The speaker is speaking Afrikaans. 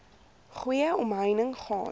goeie omheining gaan